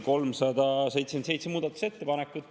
– 377 muudatusettepanekut.